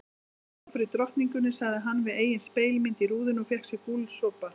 Skál fyrir drottningunni sagði hann við eigin spegilmynd í rúðunni og fékk sér gúlsopa.